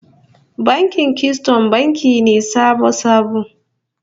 Bankin Kisiton banki ne sabo-sabo